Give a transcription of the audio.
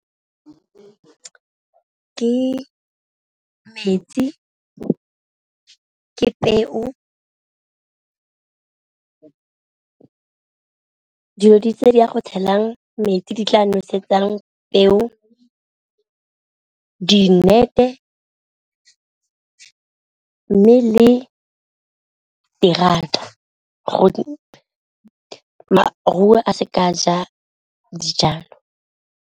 Ke metsi, ke peo , dilo di tse di a go tshelang metsi di tla nosetsang peo dinnete, mme le terata gore maruo a seke a ja dijalo.